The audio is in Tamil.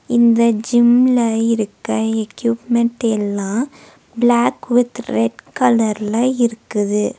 இந்த ஜிம்ல இருக்க எக்யூப்மென்ட் எல்லா பிளாக் வித் ரெட் கலர்ல இருக்குது.